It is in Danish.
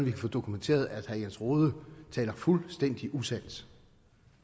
kan få dokumenteret at herre jens rohde taler fuldstændig usandt